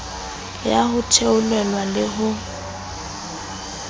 ya ho theolelwa le ho